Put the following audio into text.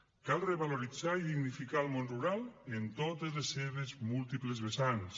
cal revaloritzar i dignificar el món rural en totes les seves múltiples vessants